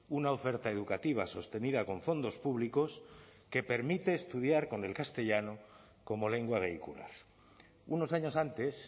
una oferta educativa sostenida con fondos públicos que permite estudiar con el castellano como lengua vehicular unos años antes